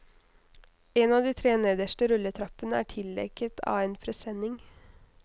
En av de tre nederste rulletrappene er tildekket av en presenning.